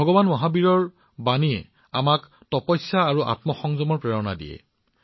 ভগৱান মহাবীৰৰ বাৰ্তাই আমাক তপস্যা আৰু আত্মসংযমৰ অনুপ্ৰেৰণা যোগায়